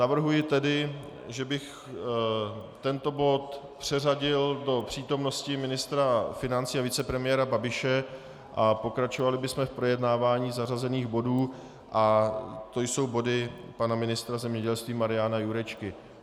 Navrhuji tedy, že bych tento bod přeřadil do přítomnosti ministra financí a vicepremiéra Babiše a pokračovali bychom v projednávání zařazených bodů, a to jsou body pana ministra zemědělství Mariana Jurečky.